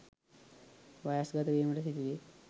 වයස්ගත වීමට සිදුවේ.